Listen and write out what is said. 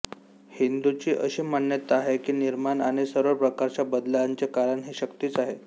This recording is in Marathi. हिंदूंची अशी मान्यता आहे की निर्माण आणि सर्व प्रकारच्या बदलांचे कारण ही शक्तीच आहे